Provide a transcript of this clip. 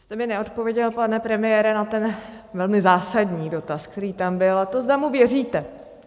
Jste mi neodpověděl, pane premiére, na ten velmi zásadní dotaz, který tam byl, a to, zda mu věříte.